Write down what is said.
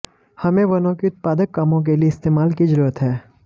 हमें वनों की उत्पादक कामों के लिए इस्तेमाल की जरूरत है